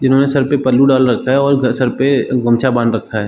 जिन्होंने सर पे पल्लू डाल रखा है और घर सर पे गमछा बांध रखा है।